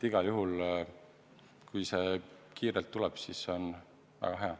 Igal juhul, kui see kiirelt tuleb, siis see on väga hea.